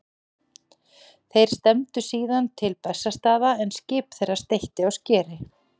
Þeir stefndu síðan til Bessastaða en skip þeirra steytti á skeri.